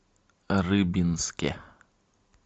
рыбинске